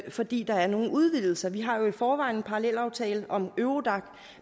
fordi der er nogle udvidelser vi har jo i forvejen en parallelaftale om eurodac